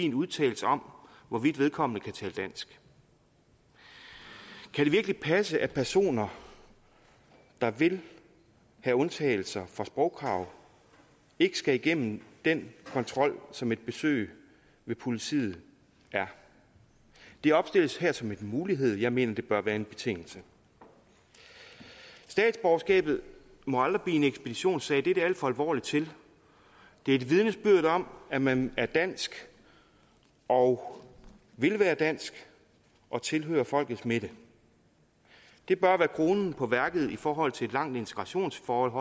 en udtalelse om hvorvidt vedkommende kan tale dansk kan det virkelig passe at personer der vil have undtagelser fra sprogkrav ikke skal igennem den kontrol som et besøg ved politiet er det opstilles her som en mulighed jeg mener det bør være en betingelse statsborgerskabet må aldrig blive en ekspeditionssag det er det alt for alvorligt til det er et vidnesbyrd om at man er dansk og vil være dansk og tilhører folkets midte det bør være kronen på værket i forhold til et langt integrationsforløb